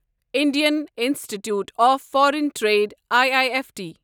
Indian institute of foreign trade I I F T